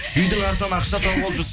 үйдің артынан ақша тауып алып жүрсіз